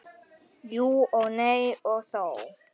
Jú og nei og þó.